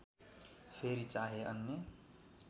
फेरि चाहे अन्य